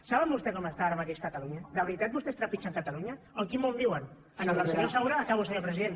saben vostès com està ara mateix catalunya de veritat vostès trepitgen catalunya o en quin món viuen en el del senyor saura acabo senyor president